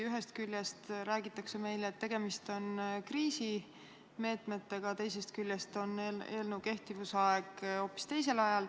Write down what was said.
Ühest küljest räägitakse meile, et tegemist on kriisimeetmetega, teisest küljest on kehtivuse aeg hoopis teine.